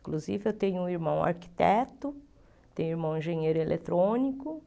Inclusive, eu tenho um irmão arquiteto, tenho um irmão engenheiro eletrônico,